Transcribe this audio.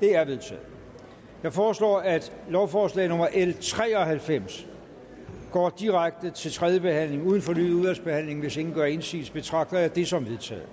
det er vedtaget jeg foreslår at lovforslag nummer l tre og halvfems går direkte til tredje behandling uden fornyet udvalgsbehandling hvis ingen gør indsigelse betragter jeg det som vedtaget